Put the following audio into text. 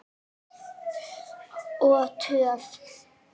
Og töff!